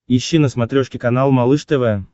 ищи на смотрешке канал малыш тв